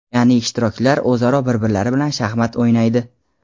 Ya’ni ishtirokchilar o‘zaro bir-birlari bilan shaxmat o‘ynaydi.